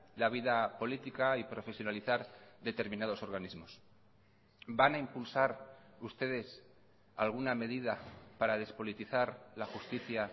la vida política y profesionalizar determinados organismos van a impulsar ustedes alguna medida para despolitizar la justicia